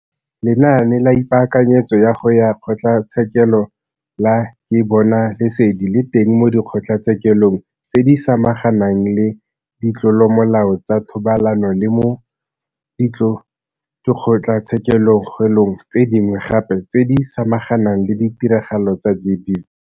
Lenaane la Ipaakanyetso ya go ya Kgotlatshekelo la Ke Bona Lesedi le teng mo Dikgotlatshekelong tse di Samaganang le Ditlolomolao tsa Thobalano le mo dikgotlatshekelong tse dingwe gape tse di samaganang le ditiragalo tsa GBV.